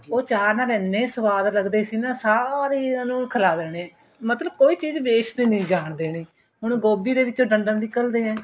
ਉਹ ਚਾਹ ਨਾਲ ਇਹਨੇ ਸੁਆਦ ਲੱਗਦੇ ਸੀ ਨਾ ਸਾਰਿਆਂ ਨੂੰ ਖਿਲਾਹ ਦੇਣੇ ਮਤਲਬ ਕੋਈ ਚੀਜ waste ਨਹੀਂ ਜਾਣ ਦੇਣੀ ਹੁਣ ਗੋਭੀ ਦੇ ਵਿਚੋਂ ਡੱਡਲ ਨਿਕਲਦੇ ਏ